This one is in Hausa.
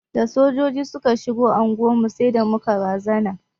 Da Sojoji suka shigo anguwar mu sai da muka razana.